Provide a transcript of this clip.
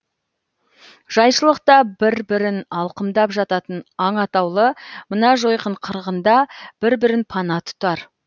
жайшылықта бір бірін алқымдап жататын аң атаулы мына жойқын қырғында бір бірін пана тұтар